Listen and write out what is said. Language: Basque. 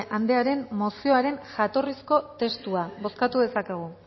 andrearen mozioaren jatorrizko testua bozkatu dezakegu